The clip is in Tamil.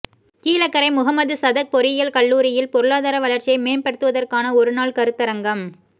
கீழக்கரை முஹம்மது சதக் பொறியியல் கல்லூரியில் பொருளாதார வளர்ச்சியை மேம்படுத்துவதற்கான ஒருநாள் கருத்தரங்கம்